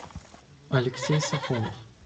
алексей сафонов